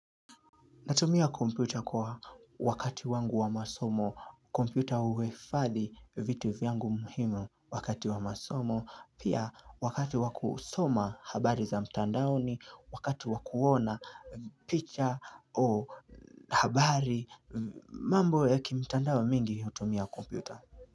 Natumia kompyuta kwa wakati wangu wa masomo, kompyuta huhifathi vitu vyangu muhimu wakati wa masomo, pia wakati wa kusoma habari za mtandaoni wakati wakuona picha habari mambo ya kimtandao mingi hutumia komputa.